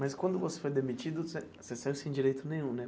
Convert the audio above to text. Mas quando você foi demitido, você você saiu sem direito nenhum, né?